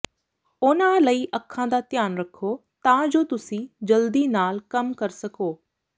ਉਹਨਾਂ ਲਈ ਅੱਖਾਂ ਦਾ ਧਿਆਨ ਰੱਖੋ ਤਾਂ ਜੋ ਤੁਸੀਂ ਜਲਦੀ ਨਾਲ ਕੰਮ ਕਰ ਸਕੋ